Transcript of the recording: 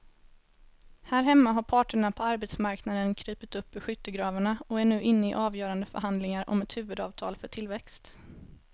Här hemma har parterna på arbetsmarknaden krupit upp ur skyttegravarna och är nu inne i avgörande förhandlingar om ett huvudavtal för tillväxt.